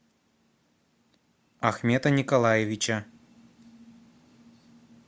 ахмета николаевича